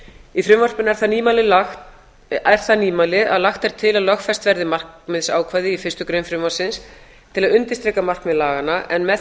í frumvarpinu er það nýmæli að lagt er til að lögfest verði markmiðsákvæði í fyrstu grein frumvarpsins til að undirstrika markmið laganna en með